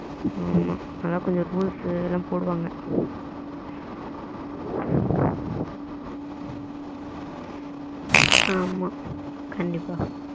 ஆமா அத கொஞ்சம் rules அதெல்லாம் போடுவாங்க ம் ஆமா கண்டிப்பா